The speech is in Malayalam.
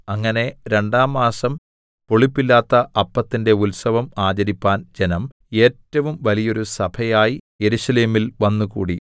അങ്ങനെ രണ്ടാം മാസം പുളിപ്പില്ലാത്ത അപ്പത്തിന്റെ ഉത്സവം ആചരിപ്പാൻ ജനം ഏറ്റവും വലിയോരു സഭയായി യെരൂശലേമിൽ വന്നുകൂടി